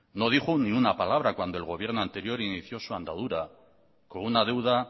no dijo ni una palabra cuando el gobierno anterior inició su andadura con una deuda